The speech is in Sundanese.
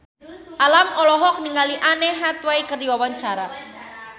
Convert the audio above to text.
Alam olohok ningali Anne Hathaway keur diwawancara